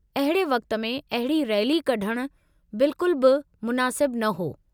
अहिड़े वक़्त में अहिड़ी रैली कढणु बिल्कुल बि मुनासिबु न हो।